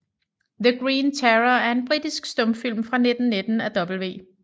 The Green Terror er en britisk stumfilm fra 1919 af W